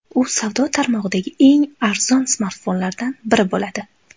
U savdo tarmog‘idagi eng arzon smartfonlardan biri bo‘ladi.